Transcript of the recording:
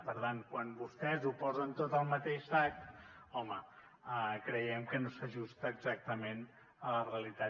per tant quan vostès ho posen tot al mateix sac home creiem que no s’ajusta exactament a la realitat